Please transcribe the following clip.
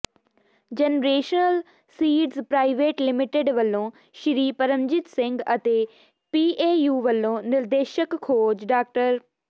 generation seeds private limited ਵੱਲੋਂ ਸ੍ਰੀ ਪਰਮਜੀਤ ਸਿੰਘ ਅਤੇ PAU ਵੱਲੋਂ ਨਿਰਦੇਸ਼ਕ ਖੋਜ ਡਾ